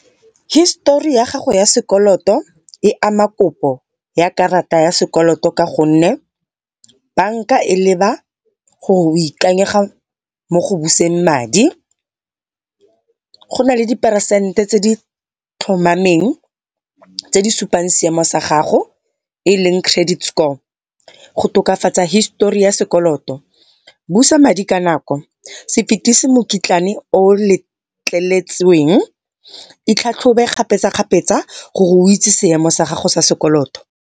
Histori ya gago ya sekoloto e ama kopo ya karata ya sekoloto, ka gonne banka e leba gore o ikanyega mo gobuseng madi. Go na le di peresente tse di tlhomameng tse di supang seemo sa gago eleng credit score. Go tokafatsa histori ya sekoloto busa madi ka nako, se fetisi mokitlane o letleletsweng, ithlatlhobe kgapetsa kgapetsa gore o itse se emo sa gago sa sekoloto.